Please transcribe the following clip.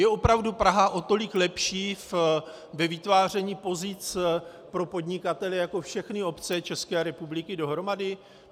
Je opravdu Praha o tolik lepší ve vytváření pozic pro podnikatele jako všechny obce České republiky dohromady?